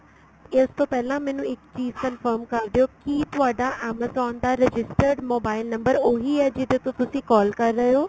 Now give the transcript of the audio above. ਇਸ ਤੋਂ ਪਹਿਲਾਂ ਮੈਨੂੰ ਇੱਕ ਚੀਜ confirm ਕਰਦਿਉ ਕੀ ਤੁਹਾਡਾ amazon registered mobile number ਉਹੀ ਹੈ ਜਿਹਦੇ ਤੋਂ ਤੁਸੀਂ call ਕਰ ਰਹੇ ਓ